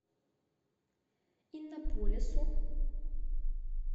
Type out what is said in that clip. иннополису